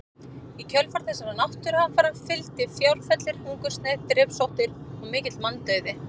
Í kjölfar þessara náttúruhamfara fylgdi fjárfellir, hungursneyð, drepsóttir og mikill manndauði.